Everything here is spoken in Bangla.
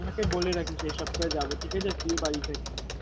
কাকিমা কে বলে রাখিস এই সপ্তাহে যাবো ঠিক আছে? তুই বাড়ি থাকিস